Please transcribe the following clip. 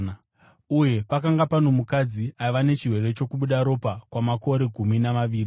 Uye pakanga pano mukadzi aiva nechirwere chokubuda ropa kwamakore gumi namaviri.